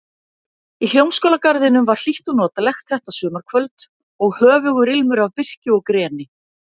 Í Hljómskálagarðinum var hlýtt og notalegt þetta sumarkvöld og höfugur ilmur af birki og greni.